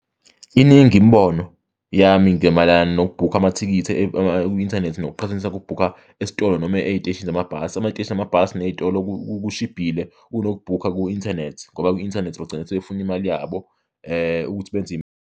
Iningi imibono yami ngemayelana nokubhukha amathikithi ku-inthanethi nokuqhathanisa kokubhukha esitolo noma ey'teshini zamabhasi. Amateshi amabhasi ney'tolo kushibhile kunokubhukha ku-inthanethi ngoba kwi-inthanethi bagcina sebefuna imali yabo ukuthi benze.